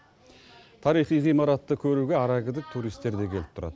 тарихи ғимаратты көруге арагідік туристер де келіп тұрады